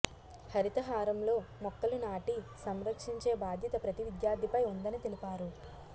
హరితహారంలో మొక్కలు నాటి సంరక్షించే బాధ్యత ప్రతి విద్యార్థిపై ఉందని తెలిపారు